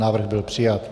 Návrh byl přijat.